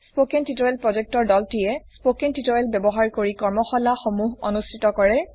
spoken tutorial টিমে spoken tutorial ব্যবহাৰ কৰি কৰ্মশালাসমূহ অনুষ্ঠিত কৰে